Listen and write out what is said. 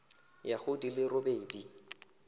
ya go di le robedi